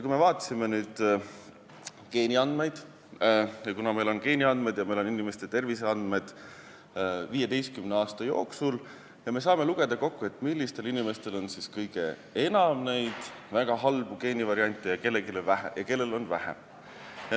Kui me vaatame nüüd geeniandmeid – kuna meil on geeniandmed ja inimeste terviseandmed 15 aasta jooksul –, siis me saame lugeda kokku, millistel inimestel on kõige enam väga halbu geenivariante ja kellel on vähem.